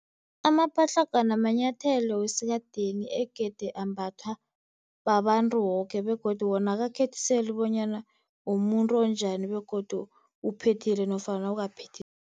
Amapatlagwana manyathelo wesikadeni egade ambathwa babantu boke, begodu wona akakhethiseli bonyana umuntu onjani begodu uphethile nofana awukaphethi.